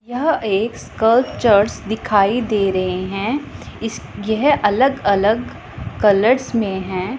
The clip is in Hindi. यह एक स्कल्पचर्स दिखाई दे रहे हैं इस येह अलग अलग कलर्स में हैं।